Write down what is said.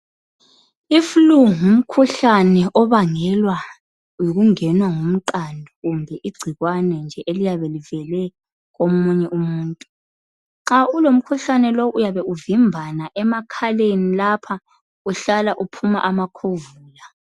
I flue ngumkhuhlane obangelwa yikungenwa ngumqando kumbe igcikwane nje eliyabe livele komunye umuntu nxa ulomkhuhlane lo uyabe uvimbana emakhaleni lapha uhlala uphuma amakhovula .